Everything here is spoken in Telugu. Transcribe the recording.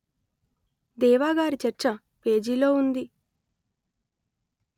దేవా గారి చర్చ పేజీలో ఉంది